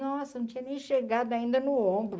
Nossa, não tinha nem chegado ainda no ombro.